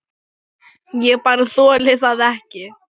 Ég bara þoli það ekki.